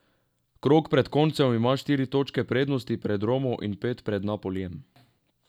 Krog pred koncem ima štiri točke prednosti pred Romo in pet pred Napolijem.